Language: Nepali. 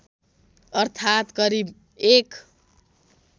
अर्थात् करिब १